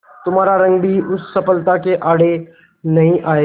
तुम्हारा रंग भी उस सफलता के आड़े नहीं आएगा